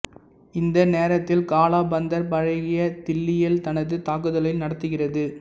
இந்த நேரத்தில் காலா பந்தர் பழைய தில்லியில் தனது தாக்குதலை நடத்துகிறது